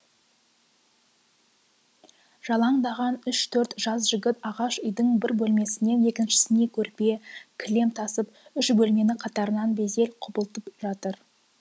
жалаңдаған үш төрт жас жігіт ағаш үйдің бір бөлмесінен екіншісіне көрпе кілем тасып үш бөлмені қатарынан безеп құбылтып жатыр